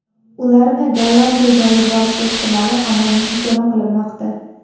Ularni Gollandiyaga olib borish ehtimoli hamon muhokama qilinmoqda.